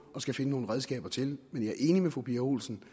og skal finde nogle redskaber til men jeg er enig med fru pia olsen